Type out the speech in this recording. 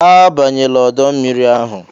"Abanyela ọdọ mmiri ahụ"